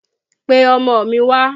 Pe ọmọ mi wà!